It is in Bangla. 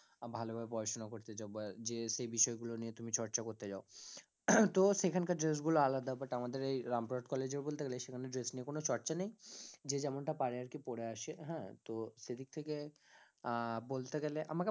ভালোভাবে পড়াশোনা করতে চাও বা যে সেই বিষয়গুলো নিয়ে তুমি চর্চা করতে চাও তো সেখানকার dress গুলো আলাদা but আমাদের এই রামপুরহাট college এ বলতে গেলে সেখানে dress নিয়ে কোনো চর্চা নেই যে যেমনটা পারে আরকি পরে আসে হ্যাঁ, তো সেদিক থেকে আহ বলতে গেলে আমা~